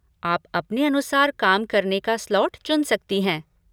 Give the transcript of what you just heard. आप अपने अनुसार काम करने का स्लॉट चुन सकती हैं।